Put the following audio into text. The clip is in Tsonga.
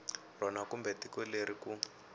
rona kumbe tiko leri ku